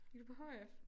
Gik du på hf?